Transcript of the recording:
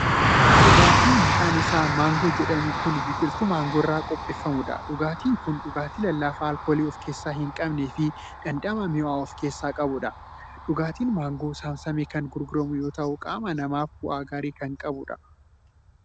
Dhugaatii maqaan Isaa"maangoo"jedhamu Kan biqiltuu maangoo irraa qopheeffamuudha. dhugaatiin Kuni dhugaatii lallaafaa alkoolii ofkeessaa hin qabnee fi dhandhama mi'aawaa of keessaa qabuudha. dhugaatiin maangoo saamsamee Kan gurguramu yoo ta'u qaama namaaf bu'aa gaarii Kan qabuudha.